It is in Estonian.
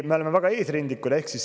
Me oleme väga eesrindlikud.